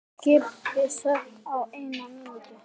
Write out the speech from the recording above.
Skipið sökk á einni mínútu.